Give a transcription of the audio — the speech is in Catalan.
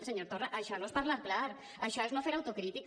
senyor torra això no és parlar clar això és no fer autocrítica